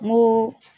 N ko